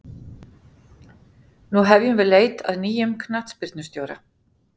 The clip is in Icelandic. Nú hefjum við leit að nýjum knattspyrnustjóra.